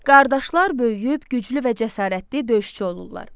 Qardaşlar böyüyüb güclü və cəsarətli döyüşçü olurlar.